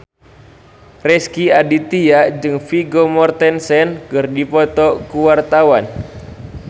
Rezky Aditya jeung Vigo Mortensen keur dipoto ku wartawan